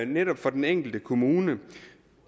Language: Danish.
netop for den enkelte kommune